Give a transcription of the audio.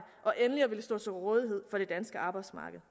og endelig om at ville stå til rådighed for det danske arbejdsmarked